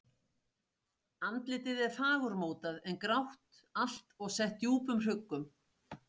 Andlitið er fagurmótað en grátt allt og sett djúpum hrukkum.